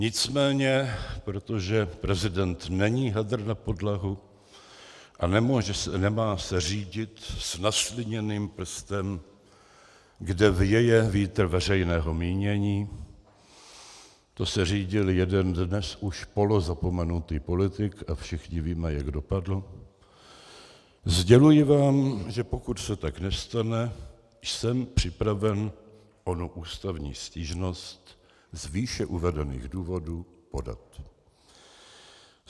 Nicméně, protože prezident není hadr na podlahu a nemá se řídit s nasliněným prstem, kde věje vítr veřejného mínění - to se řídil jeden dnes už polozapomenutý politik a všichni víme, jak dopadl -, sděluji vám, že pokud se tak nestane, jsem připraven onu ústavní stížnost z výše uvedených důvodů podat.